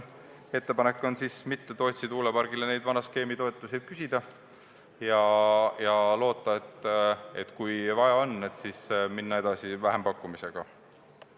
Ettepanek on siis mitte Tootsi tuulepargile vana skeemi järgi toetust küsida ja kui vaja on, siis minna edasi vähempakkumisega.